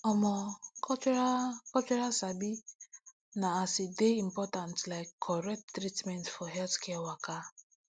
omo cultural cultural sabi na as e dey important like correct treatment for healthcare waka